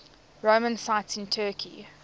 roman sites in turkey